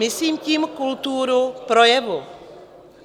Myslím tím kulturu projevu.